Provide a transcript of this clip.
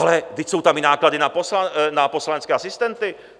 Ale vždyť jsou tam i náklady na poslanecké asistenty.